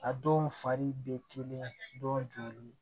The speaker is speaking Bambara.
A dɔw fari bɛ kelen dɔnni